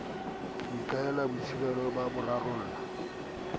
ho ikahela boitsebelo ba rarolle